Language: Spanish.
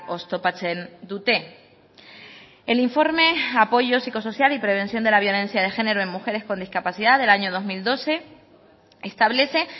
oztopatzen dute el informe apoyo psicosocial y prevención de la violencia de género en mujeres con discapacidad del año dos mil doce establece